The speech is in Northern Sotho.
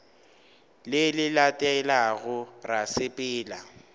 le le latelago ra sepela